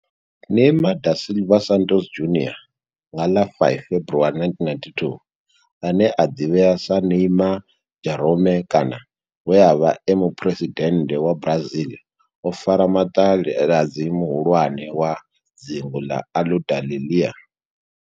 Neymar da Silva Santos Junior, nga ḽa 5 February 1992, ane a ḓivhiwa sa Ne'ymar' Jeromme kana we a vha e muphuresidennde wa Brazil o fara maṱaladzi muhulwane wa dzingu ḽa Aludalelia.